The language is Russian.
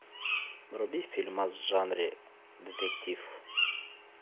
вруби фильма в жанре детектив